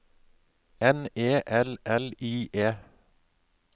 N E L L I E